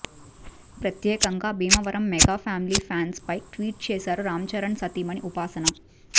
ప్రత్యేకంగా Bhimavaram mega family ఫ్యాన్స్పై tweet చేశారు రామ్ చరణ్ సతీమణి ఉపాసన